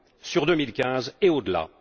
sur 2015 et au delà.